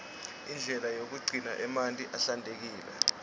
indlela yekugcina emanti ahlantekile